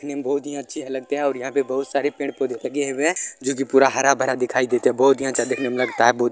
देखने में बहुत ही अच्छे लगते हैं और यहाँ पे बहुत सारे पेड़-पौधे लगे हुए हैं जो कि पूरा हरा-भरा दिखाई देता है बहुत ही अच्छा देखने में लगता है बहुत --